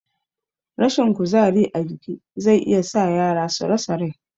Rashin kuzari a jiki zai iya sa yara su rasa rai